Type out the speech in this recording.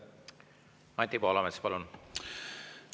Anti Poolamets, palun!